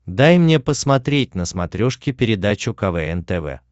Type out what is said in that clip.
дай мне посмотреть на смотрешке передачу квн тв